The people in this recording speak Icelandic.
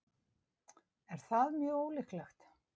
Er það mjög ólíklegt?